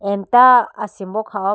emta asimbo kha ho pum.